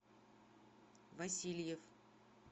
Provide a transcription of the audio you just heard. васильев